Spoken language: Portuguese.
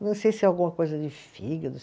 Não sei se alguma coisa de fígado.